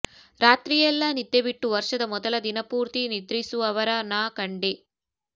ರಾತ್ರಿಯೆಲ್ಲಾ ನಿದ್ದೆ ಬಿಟ್ಟು ವರ್ಷದ ಮೊದಲ ದಿನಪೂರ್ತಿ ನಿದ್ರಿಸುವವರ ನಾ ಕಂಡೆ